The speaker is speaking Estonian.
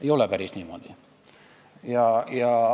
Ei ole päris niimoodi.